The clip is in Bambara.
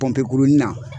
Pɔnpe nin na